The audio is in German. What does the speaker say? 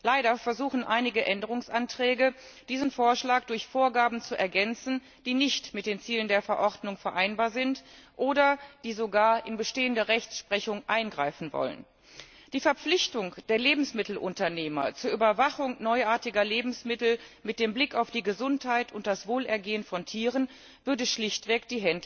Leider wird mit einigen Änderungsanträgen versucht, diesen Vorschlag durch Vorgaben zu ergänzen, die nicht mit den Zielen der Verordnung vereinbar sind, oder die sogar in bestehende Rechtssprechung eingreifen wollen. Die Verpflichtung der Lebensmittelunternehmer zur Überwachung neuartiger Lebensmittel mit dem Blick auf die Gesundheit und das Wohlergehen von Tieren würde die Händler schlichtweg